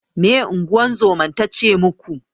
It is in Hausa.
Meye ingozuman tace muku?